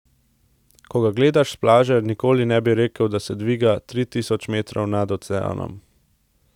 Ko ga gledaš s plaže, nikoli ne bi rekel, da se dviga tri tisoč metrov nad oceanom.